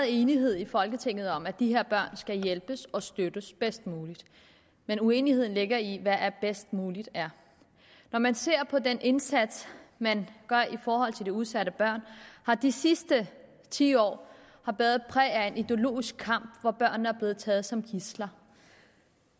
enighed i folketinget om at de her børn skal hjælpes og støttes bedst muligt men uenigheden ligger i hvad bedst muligt er når man ser på den indsats man gør i forhold til de udsatte børn har de sidste ti år været præget af en ideologisk kamp hvor børnene er blevet taget som gidsler